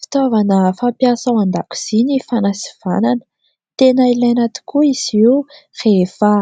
Fitaovana fampiasa ao an-dakozia ny fanasivanana, tena ilaina tokoa izy io rehefa